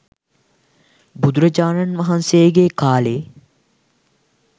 බුදුරජාණන් වහන්සේගේ කාලේ